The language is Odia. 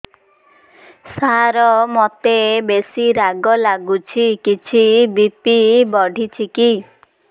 ସାର ମୋତେ ବେସି ରାଗ ଲାଗୁଚି କିଛି ବି.ପି ବଢ଼ିଚି କି